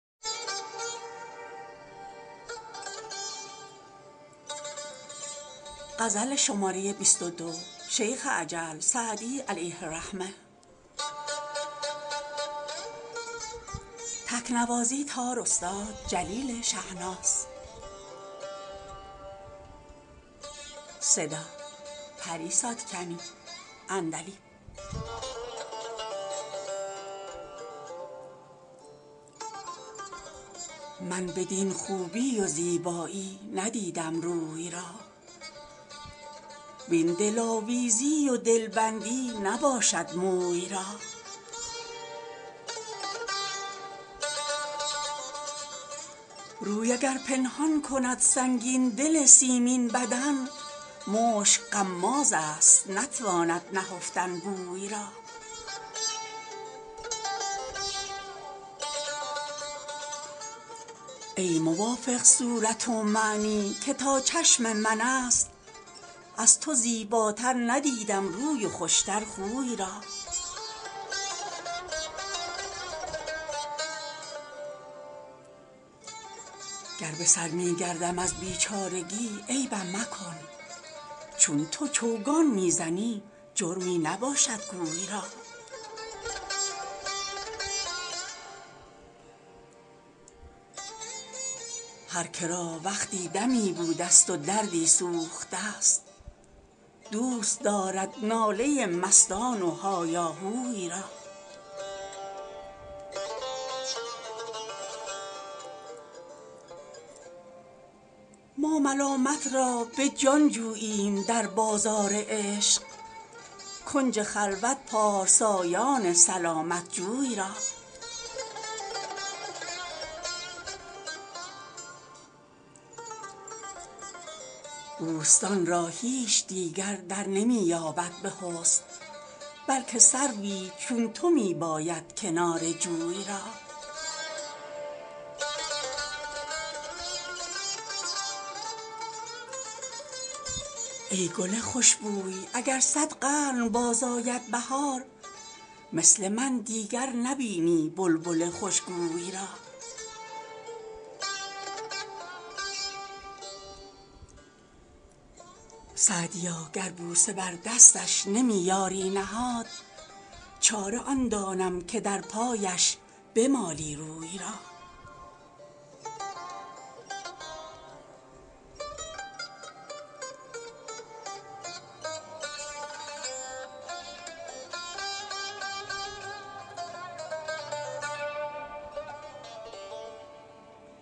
من بدین خوبی و زیبایی ندیدم روی را وین دلآویزی و دلبندی نباشد موی را روی اگر پنهان کند سنگین دل سیمین بدن مشک غمازست نتواند نهفتن بوی را ای موافق صورت ومعنی که تا چشم من است از تو زیباتر ندیدم روی و خوش تر خوی را گر به سر می گردم از بیچارگی عیبم مکن چون تو چوگان می زنی جرمی نباشد گوی را هر که را وقتی دمی بودست و دردی سوخته ست دوست دارد ناله مستان و هایاهوی را ما ملامت را به جان جوییم در بازار عشق کنج خلوت پارسایان سلامت جوی را بوستان را هیچ دیگر در نمی باید به حسن بلکه سروی چون تو می باید کنار جوی را ای گل خوش بوی اگر صد قرن باز آید بهار مثل من دیگر نبینی بلبل خوش گوی را سعدیا گر بوسه بر دستش نمی یاری نهاد چاره آن دانم که در پایش بمالی روی را